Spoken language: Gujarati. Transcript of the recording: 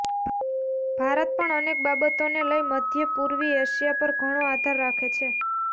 ભારત પણ અનેક બાબતોને લઈ મધ્ય પૂર્વી એશિયા પર ઘણો આધાર રાખે છે